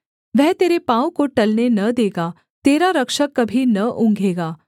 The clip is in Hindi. वह तेरे पाँव को टलने न देगा तेरा रक्षक कभी न ऊँघेगा